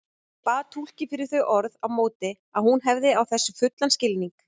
Bað túlkinn fyrir þau orð á móti að hún hefði á þessu fullan skilning.